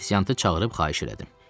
Afisiantı çağırıb xahiş elədim.